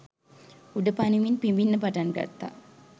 උඩ පනිමින් පිඹින්න පටන් ගත්තා